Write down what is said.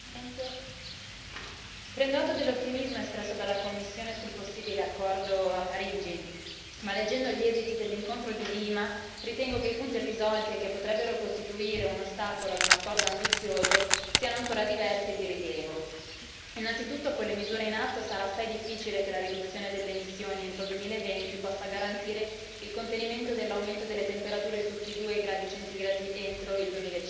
Signor Presidente, onorevoli colleghi, prendo atto dell'ottimismo espresso dalla Commissione sul possibile accordo a Parigi ma, leggendo gli esisti dell'incontro di Lima, ritengo che i punti irrisolti e che potrebbero costituire un ostacolo ad un accordo ambizioso siano ancora diversi e di rilievo. Innanzitutto, con le misure in atto, sarà assai difficile che la riduzione delle emissioni entro il 2020 possa garantire il contenimento dell'aumento delle temperatura sotto i 2°C entro il